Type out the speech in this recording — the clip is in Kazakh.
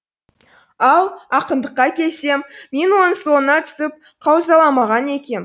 ал ақындыққа келсем мен оның соңына түсіп қаузаламаған екем